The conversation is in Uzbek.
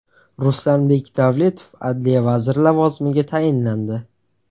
Ruslanbek Davletov adliya vaziri lavozimiga tayinlandi.